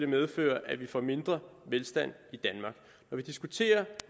medføre at vi får mindre velstand i vi diskuterer